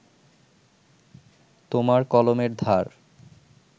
তোমার কলমের ধার